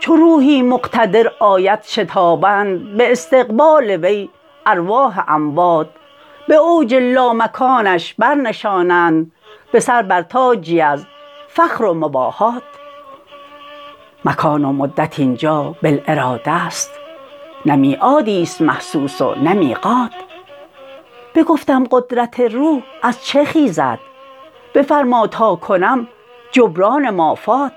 چو روحی مقتدر آید شتابند به استقبال وی ارواح اموات به اوج لامکانش برنشانند به سر بر تاجی از فخر و مباهات مکان و مدت اینجا بالاراده است نه میعادی است محسوس و نه میقات بگفتم قدرت روح از چه خیزد بفرما تاکنم جبران مافات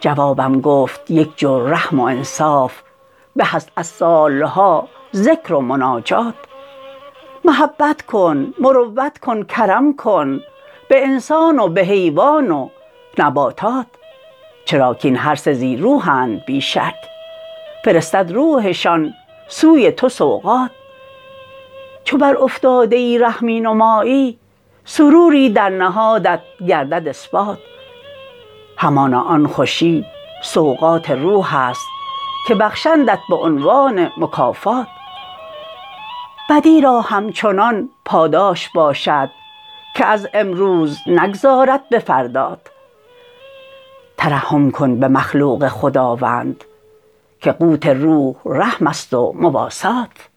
جوابم گفت یک جو رحم و انصاف به است از سال ها ذکر و مناجات محبت کن مروت کن کرم کن به انسان و به حیوان و نباتات چراکاین هر سه ذی روحند بی شک فرستد روحشان سوی تو سوقات چو بر افتاده ای رحمی نمایی سروری در نهادت گردد اثبات همانا آن خوشی سوقات روح است که بخشندت به عنوان مکافات بدی را همچنان پاداش باشد که از امروز نگذارد به فردات ترحم کن به مخلوق خداوند که قوت روح رحم است و مواسات